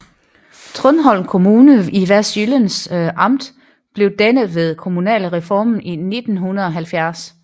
Trundholm Kommune i Vestsjællands Amt blev dannet ved kommunalreformen i 1970